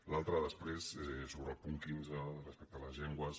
l’altre després és sobre el punt quinze respecte a les llengües